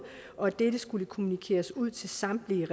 og at dette skulle kommunikeres ud til samtlige